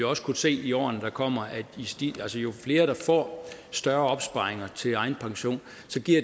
også kunne se i årene der kommer at jo flere der får større opsparinger til egen pension